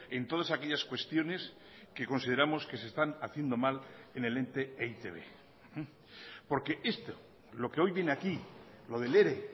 en todas aquellas cuestiones que consideramos que se están haciendo mal en el ente e i te be porque esto lo que hoy viene aquí lo del ere